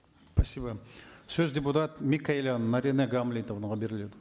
спасибо сөз депутат микаелян наринэ гамлетовнаға беріледі